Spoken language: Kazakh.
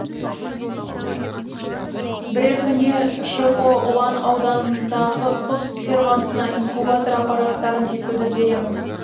бірер күнде шқо ұлан ауданындағы құс фермасына инкубатор аппараттарын жеткізіп береміз